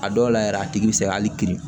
A dɔw la yɛrɛ a tigi bɛ se ka hali kiri